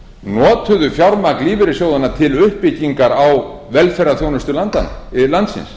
notuðu fjármagn lífeyrissjóðanna til uppbyggingar á velferðarþjónustu landsins